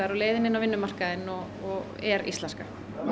og leiðin inn á vinnumarkaðinn er íslenska